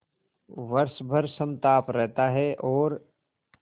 वर्ष भर समताप रहता है और